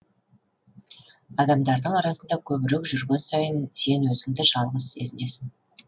адамдардың арасында көбірек жүрген сайын сен өзіңді жалғыз сезінесің